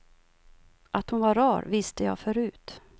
Att hon var rar visste jag förut.